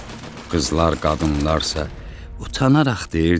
Qızlar, qadınlarsa utanaraq deyirdilər: